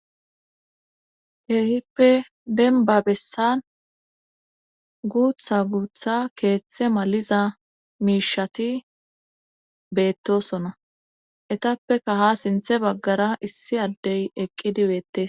Keehippe denba bessan guutha guutha keeththe maliza miishati beettosona etappeka ha sinthe baggara issi addey eqqidibeette.